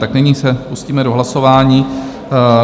Tak nyní se pustíme do hlasování.